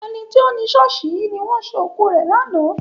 Ẹni tó ni ṣọ́ọ̀ṣì yìí ni wọ́n ṣé òkú rẹ̀ lánàá.